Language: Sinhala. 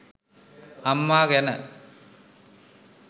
අම්ම ගැන